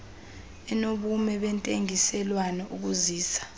enobume bentengiselwano ukuzisa